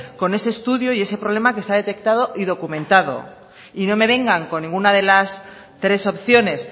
con ese estudio y ese problema que está detectado y documentado y no me vengan con ninguna de las tres opciones